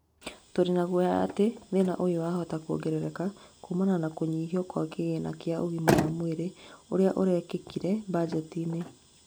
turĩ nagũoya atĩ thĩna ũyũ wahota kũongerereka, kumana na kũnyihio gwa kĩgĩna kĩa ũgima wa mwĩrĩ ũria ũrekĩkire mbajetinĩ